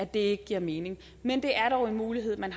det ikke giver mening men det er dog en mulighed man